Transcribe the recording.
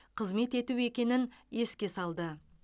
қызмет ету екенін еске салды